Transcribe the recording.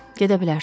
Gedə bilərsiniz.